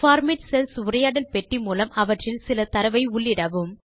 format cells உரையாடல் பெட்டி மூலம் அவற்றில் சில தரவை உள்ளிடவும்